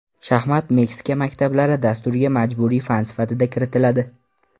Shaxmat Meksika maktablari dasturiga majburiy fan sifatida kiritiladi.